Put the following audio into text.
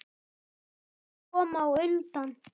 Hilmar kom á undan.